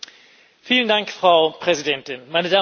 Frau Präsidentin, meine Damen und Herren!